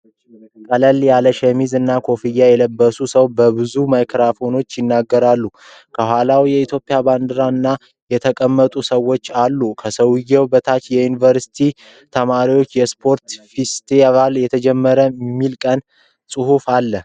ቀለል ያለ ሸሚዝ እና ኮፍያ የለበሰ ሰው በብዙ ማይክሮፎኖች ይናገራል። ከኋላው የኢትዮጵያ ባንዲራ እና የተቀመጡ ሰዎች አሉ። ከሰውየው በታችም የዩንቨርሲቲ ተማሪዎች የስፖርት ፌስቲቫል ተጀመረ የሚል ጽሁፍ ተጽፏል።